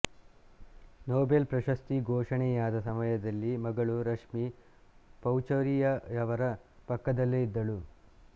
Nobel ಪ್ರಶಸ್ತಿ ಘೋಷಣೆಯಾದ ಸಮಯದಲ್ಲಿ ಮಗಳು ರಷ್ಮಿ ಪಚೌರಿಯವರ ಪಕ್ಕದಲ್ಲೇ ಇದ್ದಳು